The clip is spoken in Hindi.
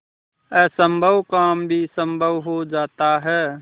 असम्भव काम भी संभव हो जाता है